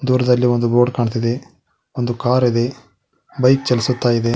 ದೂರ್ದಲ್ಲಿ ಒಂದು ರೋಡ್ ಕಾಣ್ತಿದೆ ಒಂದು ಕಾರಿ ದೆ ಬೈಕ್ ಚಲಿಸುತ್ತಾಯಿದೆ.